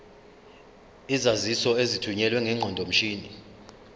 izaziso ezithunyelwe ngeqondomshini